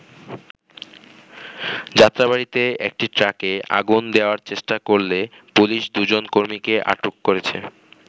যাত্রাবাড়ীতে একটি ট্রাকে আগুন দেয়ার চেষ্টা করলে পুলিশ দুজন কর্মীকে আটক করেছে।